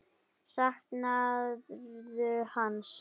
Saknarðu hans?